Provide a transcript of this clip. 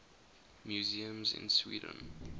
museums in sweden